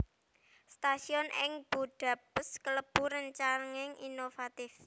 Stasiun ing Budapest kalebu rancangan inovatif